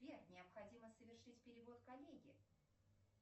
сбер необходимо совершить перевод коллеге